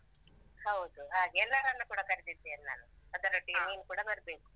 ಹೌದು ಹಾಗೆ. ಎಲ್ಲರನ್ನು ಕೂಡ ಕರೆದಿದ್ದೇನೆ ನಾನು. ಅದರೊಟ್ಟಿಗೆ ನೀನ್ ಕೂಡ ಬರ್ಬೇಕು.